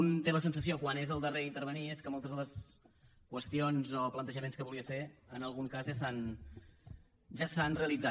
un té la sensació quan és el darrer a intervenir que moltes de les qüestions o plantejaments que volia fer en algun cas ja s’han realitzat